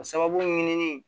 A sababu ɲinini